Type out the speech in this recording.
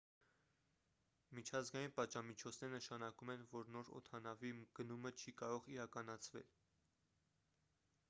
միջազգային պատժամիջոցները նշանակում են որ նոր օդանավի գնումը չի կարող իրականացվել